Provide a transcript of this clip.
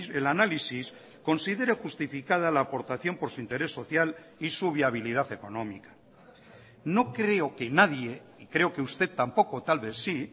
el análisis considere justificada la aportación por su interés social y su viabilidad económica no creo que nadie y creo que usted tampoco tal vez sí